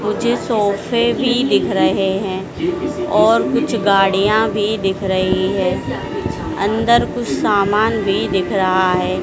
मुझे सोफे भी दिख रहे हैं और कुछ गाड़ियां भी दिख रही हैं अंदर कुछ सामान भी दिख रहा हैं।